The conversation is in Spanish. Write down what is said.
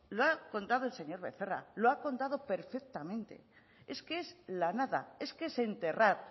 lo ha contado el señor becerra lo ha contado perfectamente es que es la nada es que es enterrar